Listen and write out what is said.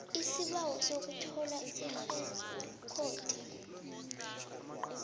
isibawo sokuthola irekhodi